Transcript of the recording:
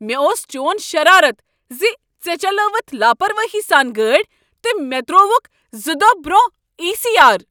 مےٚ اوس چون شرارت ز ژےٚ چلاوٕتھ لاپرواہی سان گٲڑۍ تہٕ مےٚ ترٛووکھ زٕ دۄہ برٛونٛہہ ای سی آر۔